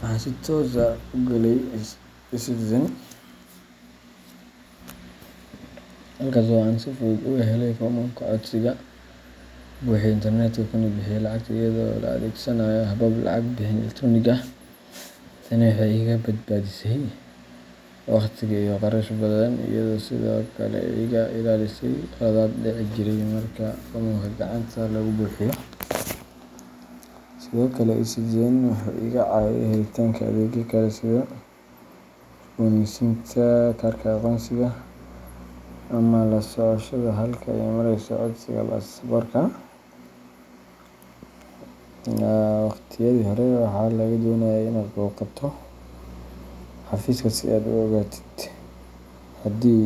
waxaan si toos ah ugu galay eCitizenka, halkaas oo aan si fudud uga helay foomamka codsiga, ku buuxiyay internetka, kuna bixiyay lacagta iyadoo la adeegsanayo habab lacag bixin elektaroonik ah. Tani waxay iga badbaadisay waqti iyo kharash badan, iyadoo sidoo kale iga ilaalisay khaladaad dhici jiray marka foomamka gacanta lagu buuxiyo. Sidoo kale, eCitizenka wuxuu iga caawiyay helitaanka adeegyo kale sida cusboonaysiinta kaarka aqoonsiga ama la socoshada halka ay marayso codsiga baasaboorka. Waqtiyadii hore, waxaa lagaa doonayay inaad booqato xafiiska si aad u ogaatid haddii.